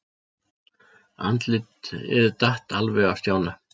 Andlitið datt alveg af Stjána.